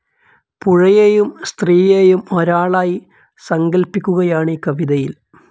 പുഴയേയും സ്ത്രീയേയും ഒരാളായി സങ്കല്പിക്കുകയാണീ കവിതയിൽ.